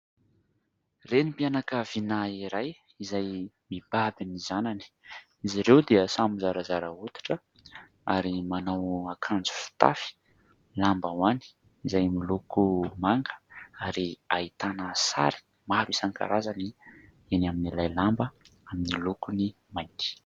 Renim-pianakavina iray izay mibaby ny zanany. Izy ireo dia samy zarazara hoditra ary manao akanjo fitafy lambahoany izay miloko manga ary ahitana sary maro isan-karazany eny amin'ilay lamba amin'ny lokony mainty.